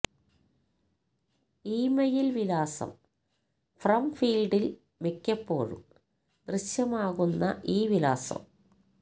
email വിലാസം from ഫീൽഡിൽ മിക്കപ്പോഴും ദൃശ്യമാകുന്ന ഈ വിലാസം